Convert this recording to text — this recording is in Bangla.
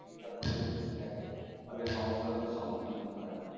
ঠিক ঠাক করে যদি একটু দেখে তাহলে এই সমস্যা গুলোর সম্মুখীন হতে হয় না।